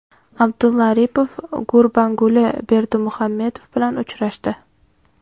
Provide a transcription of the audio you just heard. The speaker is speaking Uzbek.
Abdulla Aripov Gurbanguli Berdimuhamedov bilan uchrashdi.